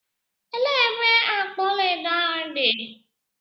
Elee ebe akpa ọlaedo ahụ dị?